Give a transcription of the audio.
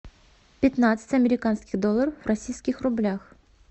пятнадцать американских долларов в российских рублях